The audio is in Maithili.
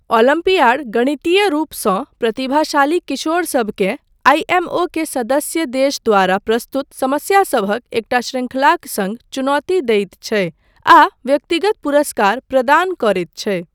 ओलम्पियाड गणितीय रूपसँ प्रतिभाशाली किशोरसबकेँ आईएमओ के सदस्य देश द्वारा प्रस्तुत समस्यासभक एकटा शृंखलाक सङ्ग चुनौती दैत छै, आ व्यक्तिगत पुरस्कार प्रदान करैत छै।